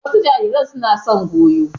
Wasu jarirai suna son goyo.